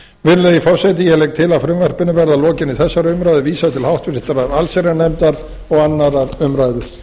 virðulegi forseti ég legg til að frumvarpinu verði að lokinni þessari umræðu vísað til háttvirtrar allsherjarnefndar og annarrar umræðu